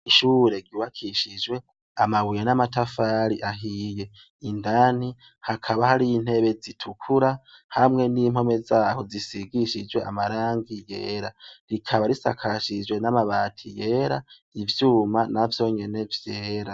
Ishure ryubikishije amabuye n'amatafari ahiye, indani hakaba hariyo intebe zitukura hamwe n'impome zaho zisigishijwe amarangi yera, rikaba risakajijwe n'amabati yera, ivyuma navyonyene vyera.